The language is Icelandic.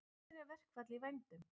Allsherjarverkfall í vændum